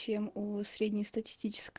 чем у среднестатистич